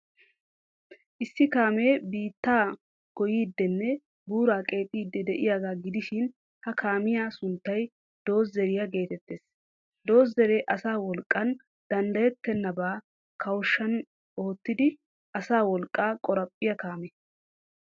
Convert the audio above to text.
Issi kaamee biittaa goyyiiddinne buuraa qeexiiddi de'iyaagaa gidishin, ha kaamiyaa sunttay doozeeriyaa geetettees. Doozeeree asa wolqqan danddayettennabaa kawushshan oottidi asa wolqqaa qoraphphiyaa kaame.